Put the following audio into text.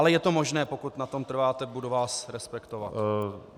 Ale je to možné, pokud na tom trváte, budu vás respektovat.